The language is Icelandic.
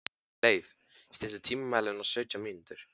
Leif, stilltu tímamælinn á sautján mínútur.